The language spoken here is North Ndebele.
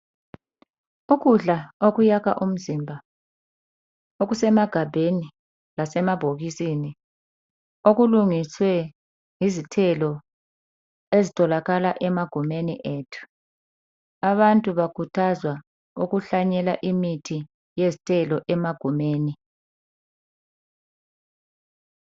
Ukudla okuyakha umzimba okuse magabheni lasemabhokisini okulungiswe izithelo ezitholakala emagumeni ethu abantu bakhuthazwa ukuhlanyela imithi yezithelo emagumeni